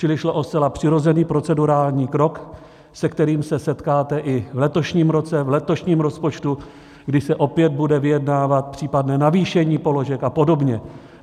Čili šlo o zcela přirozený procedurální krok, se kterým se setkáte i v letošním roce, v letošním rozpočtu, kdy se opět bude vyjednávat případné navýšení položek a podobně.